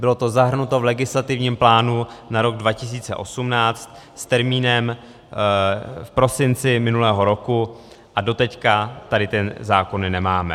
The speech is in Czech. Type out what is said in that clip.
Bylo to zahrnuto v legislativním plánu na rok 2018 s termínem v prosinci minulého roku, a doteď tady ty zákony nemáme.